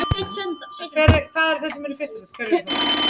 Fífurima